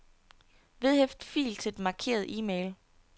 Vedhæft fil til den markerede e-mail.